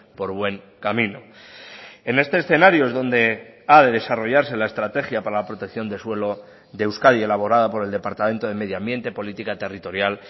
por buen camino en este escenario es donde ha de desarrollarse la estrategia para la protección de suelo de euskadi elaborada por el departamento de medioambiente política territorial